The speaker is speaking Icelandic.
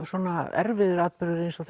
svona erfiður atburður eins og